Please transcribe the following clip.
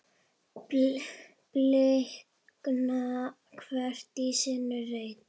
blikna hvert í sínum reit